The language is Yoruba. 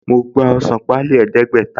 Mo gba ọsàn páálí ẹdẹ̀ẹ́gbẹ̀ta